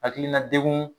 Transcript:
Hakilina degun